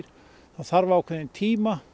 þarf ákveðinn tíma